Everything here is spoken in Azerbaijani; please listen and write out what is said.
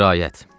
Qiraət.